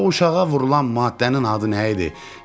O uşağa vurulan maddənin adı nə idi?